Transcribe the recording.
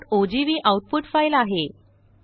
test1ओजीव्ही output file आहे